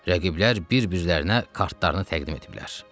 Rəqiblər bir-birlərinə kartlarını təqdim etdilər.